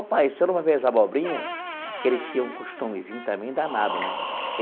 Ô, pai, o senhor não vai ver as abobrinhas, que ele tinha um costumezinho também danado, né?